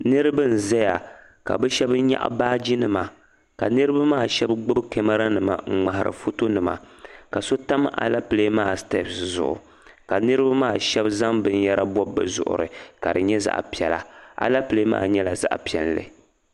Niriba n-zaya ka bɛ shɛba nyaɣi baajinima ka niriba maa shɛba gbibi kamaranima n-ŋmahiri fotonima ka so tam alepile maa sitepisi zuɣu ka niriba maa shɛba zaŋ binyɛra bɔbi bɛ zuɣiri ka di nyɛ zaɣ' piɛla. Alepile maa nyɛla zaɣ' piɛlli.